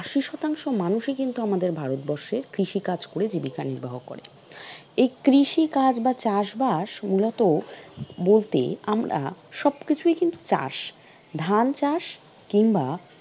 আশি শতাংশ মানুষই কিন্তু আমাদের ভারতবর্ষ কৃষি কাজ করে জীবিকা নির্বাহ করে, এই কৃষি কাজ বা চাষ বাস উন্নত বলতে আমরা সবকিছুই কিন্তু চাষ, ধান চাষ, কিংবা